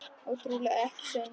Og trúlega ekki sönn.